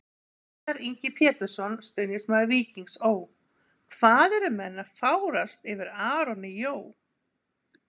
Viðar Ingi Pétursson, stuðningsmaður Víkings Ó.: Hvað eru menn að fárast yfir Aroni Jó?